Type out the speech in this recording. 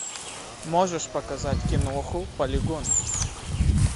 можешь показать киноху полигон